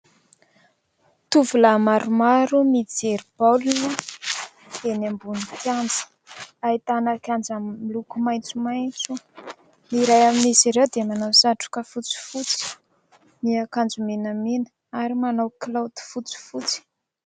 Tovolahy maromaro mijery baolina eny ambony kianja. Ahitana kianja miloko maitsomaitso. Ny iray amin'izy ireo dia manao satroka fotsifotsy, miakanjo menamena ary manao kilaoty fotsifotsy.